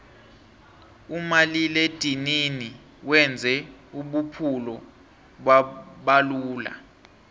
umaliledinini wenze ubuphulo babalula